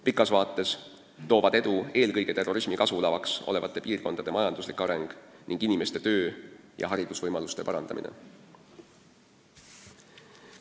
Pikas vaates toovad edu eelkõige terrorismi kasvulavaks olevate piirkondade majanduslik areng ning inimeste töö- ja haridusvõimaluste parandamine.